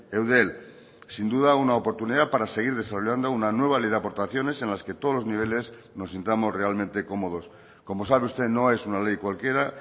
eudel sin duda una oportunidad para seguir desarrollando una nueva ley de aportaciones en las que todos los niveles nos sintamos realmente cómodos como sabe usted no es una ley cualquiera